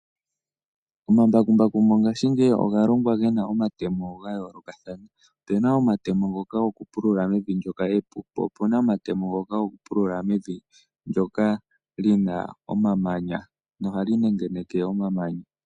Omambakumbaku mongashingeyi oga longwa gena omatemo gayoolokathana. Opuna omatemo ngoka gokupulula mevi ndyoka epu, po opuna omatemo ngoka gokupulula mevi ndyoka li na omamanya, nohali nengeneke omamanya.